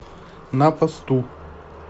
на посту